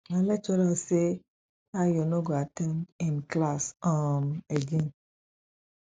my lecturer say ayo no go at ten d im class um again